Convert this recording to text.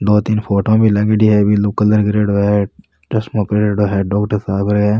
दो तीन फोटोवा भी लागेड़ी है ब्लू कलर करेडो है चश्मों परेडों है डॉक्टर साहब है।